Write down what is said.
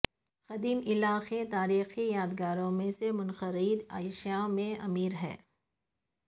قدیم علاقے تاریخی یادگاروں اور منفرد اشیاء میں امیر ہے